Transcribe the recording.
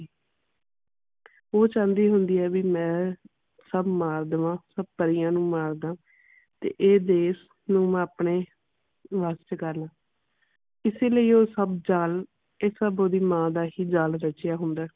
ਉਹ ਚਾਉਂਦੀ ਹੁੰਦੀ ਆ ਵੀ ਮੈਂ ਸਭ ਮਾਰ ਦਵਾ ਸਭ ਪਰੀਆਂ ਨੂੰ ਮਾਰ ਦਵਾ ਤੇ ਇਹ ਦੇਸ਼ ਨੂੰ ਮੈਂ ਆਪਣੇ ਵੱਸ ਚ ਕਰ ਲਾ ਇਸੇ ਲਈ ਉਹ ਸਭ ਜਾਲ ਇਹ ਸਭ ਓਹਦੀ ਮਾਂ ਦਾ ਹੀ ਜਾਲ ਰਚਿਆ ਹੁੰਦਾ ਹੈ।